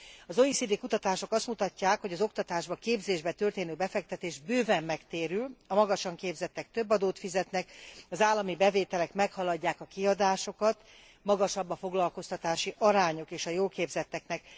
Az OECD kutatások azt mutatják, hogy az oktatásba, képzésbe történő befektetés bőven megtérül a magasan képzettek több adót fizetnek, az állami bevételek meghaladják a kiadásokat, magasabb a foglalkoztatási arányuk is a jól képzetteknek.